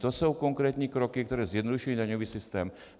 To jsou konkrétní kroky, které zjednodušují daňový systém.